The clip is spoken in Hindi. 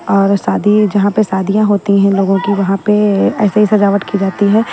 और शादी है जहां पे शादियां होती हैं लोगों की वहां पे ऐसे ही सजावट की जाती है।